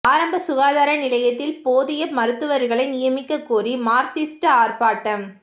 ஆரம்ப சுகாதார நிலையத்தில் போதிய மருத்துவா்களை நியமிக்க கோரி மாா்க்சிஸ்ட் ஆா்ப்பாட்டம்